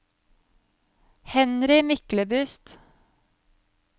Henry Myklebust